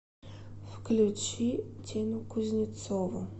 включи тину кузнецову